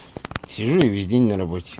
сижу и весь день на работе